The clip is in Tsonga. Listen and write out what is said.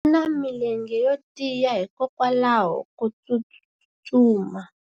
u na milenge yo tiya hikwalaho ko tsustuma